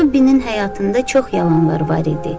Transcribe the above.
Robbinin həyatında çox yalanlar var idi.